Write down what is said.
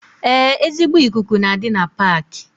Ee ezigbo ikuku na-adi na Paaki